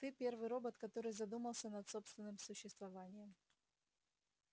ты первый робот который задумался над собственным существованием